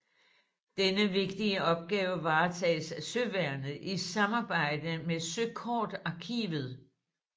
Denne vigtige opgave varetages af søværnet i samarbejde med søkortarkivet